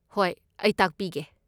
ꯍꯣꯏ, ꯑꯩ ꯇꯥꯛꯄꯤꯒꯦ꯫